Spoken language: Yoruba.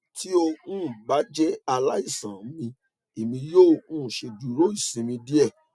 ti o um ba jẹ alaisan mi emi yoo um ṣeduro isinmi diẹ